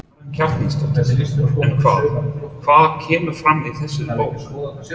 Karen Kjartansdóttir: En hvað, hvað kemur fram í þessari bók?